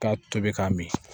K'a tobi k'a min